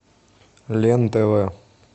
лен тв